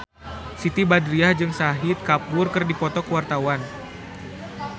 Siti Badriah jeung Shahid Kapoor keur dipoto ku wartawan